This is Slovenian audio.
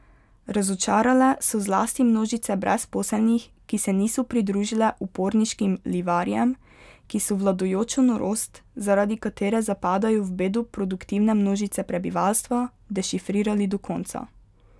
Razočarale so zlasti množice brezposelnih, ki se niso pridružile uporniškim livarjem, ki so vladajočo norost, zaradi katere zapadajo v bedo produktivne množice prebivalstva, dešifrirali do konca.